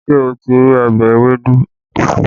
Ṣé o ti rí ọbẹ̀ ewédú?